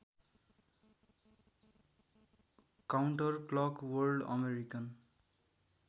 counterclock world American